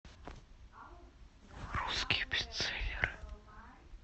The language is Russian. русские бестселлеры